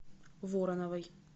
вороновой